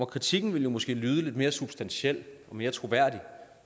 kritikken ville måske lyde lidt mere substantiel og mere troværdig